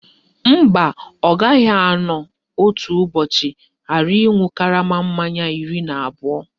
Mba, ọ gaghị anọ otu ụbọchị ghara ịṅụ karama mmanya iri na abụọ